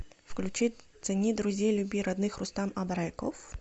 включи цени друзей люби родных рустам абреков